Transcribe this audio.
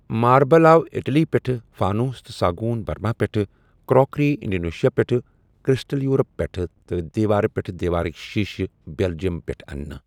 Marble آو Italy پٮ۪ٹھ، فانوس تہٕ ساگون برما پٮ۪ٹھ، کراکری انڈونیشیا پٮ۪ٹھ، کرسٹل یورپ پٮ۪ٹھ تہٕ دیوار پٮ۪ٹھ دیوارٕکۍ شیشہٕ بیلجیم پٮ۪ٹھ اننہٕ۔